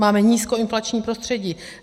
Máme nízkoinflační prostředí.